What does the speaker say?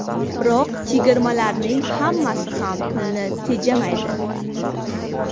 Biroq chegirmalarning hammasi ham pulni tejamaydi.